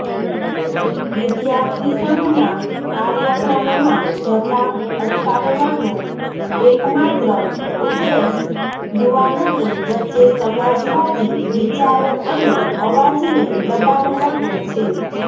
વિદ્યાર્થીસંઘના કાર્યક્રમમાં જતા અટકાવવાનો એકમાત્ર ઉદ્દેશ યુવાનોની વચ્ચે સમાજવાદી વિચારો અને અવાજને દબાવવાનો છે